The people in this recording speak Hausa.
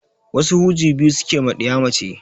Wasu huji biyu suke ma ɗiya mace